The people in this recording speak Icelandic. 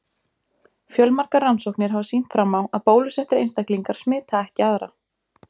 Fjölmargar rannsóknir hafa sýnt fram á að bólusettir einstaklingar smita ekki aðra.